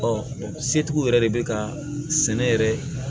setigiw yɛrɛ de bɛ ka sɛnɛ yɛrɛ